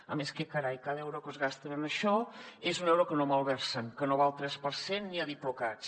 a més què carai cada euro que es gasten en això és un euro que no malversen que no va al tres per cent ni a diplocats